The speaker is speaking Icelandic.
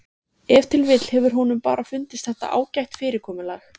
Ef til vill hefur honum bara fundist þetta ágætt fyrirkomulag.